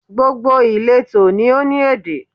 Gbogbo ìletò ni ó ní èdè